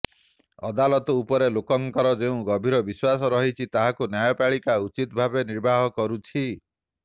ଅଦାଲତ ଉପରେ ଲୋକଙ୍କର ଯେଉଁ ଗଭୀର ବିଶ୍ବାସ ରହିଛି ତାହାକୁ ନ୍ୟାୟପାଳିକା ଉଚିତ ଭାବେ ନିର୍ବାହ କରୁଛି